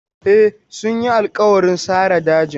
E, sun yi alƙawarin sare dajin.